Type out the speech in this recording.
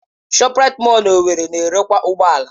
ShopRite mọll na owerri na-erekwa ụgbọ ala.